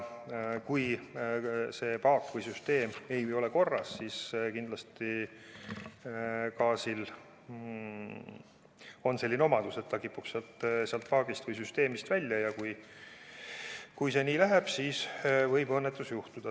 Kui see paak või süsteem ei ole korras, siis on gaasil selline omadus, et ta kipub sealt paagist või süsteemist välja tulema, ja kui see nii läheb, siis võib juhtuda õnnetus.